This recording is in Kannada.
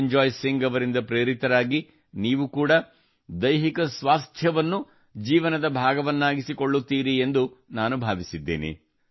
ನಿರಂಜಾಯ್ ಸಿಂಗ್ ಅವರಿಂದ ಪ್ರೇರಿತರಾಗಿ ನೀವು ಕೂಡಾ ದೈಹಿಕ ಸ್ವಾಸ್ಥ್ಯವನ್ನು ಜೀವನದ ಭಾಗವನ್ನಾಗಿಸಿಕೊಳ್ಳುತ್ತೀರಿ ಎಂದು ನಾನು ಭಾವಿಸಿದ್ದೇನೆ